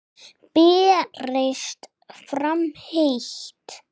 Berist fram heitt.